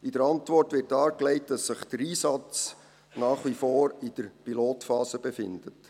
In der Antwort wird dargelegt, dass sich der Einsatz nach wie vor in der Pilotphase befindet.